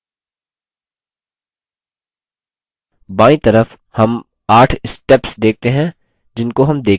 बायीं तरफ हम 8 steps देखते हैं जिनको हम देखेंगे